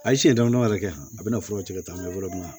A ye siɲɛ dama dama dɔ yɛrɛ kɛ a bina furaw ci ka taa n be yɔrɔ min na